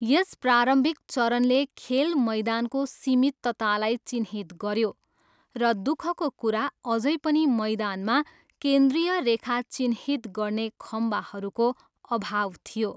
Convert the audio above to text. यस प्रारम्भिक चरणले खेल मैदानको सीमिततालाई चिह्नित गऱ्यो र दुखको कुरा, अझै पनि मैदानमा केन्द्रीय रेखा चिह्नित गर्ने खम्बाहरूको अभाव थियो।